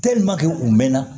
u mɛnna